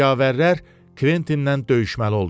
Cəngavərlər Kventinlə döyüşməli oldular.